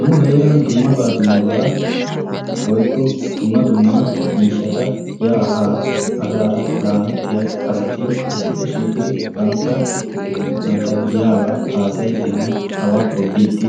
Nu heeran dummabaa dummabaa woykko dumma dumma miishshaata yaa haa asaara laamettiya asati issippe shiiqidi banttaa, banttaa giyaabaa haasayiidinne abaa tobbiidi